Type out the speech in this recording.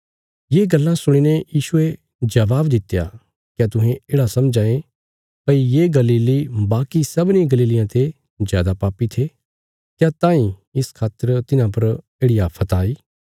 ये गल्लां सुणीने यीशुये जबाब दित्या क्या तुहें येढ़ा समझां ये भई ये गलीली बाकी सबनीं गलीलियां ते जादा पापी थे क्या तांई इस खातर तिन्हां पर येढ़ि आफ़त आई